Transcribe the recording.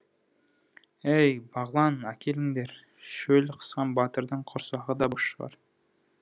әй бағлан әкеліңдер шөл қысқан батырдың құрсағы да бос шығар